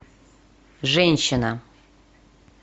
женщина